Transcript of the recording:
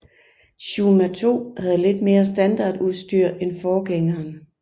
Shuma II havde lidt mere standardudstyr end forgængeren